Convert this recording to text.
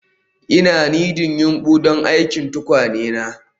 Ina nidding yumbu don aikin tukwane na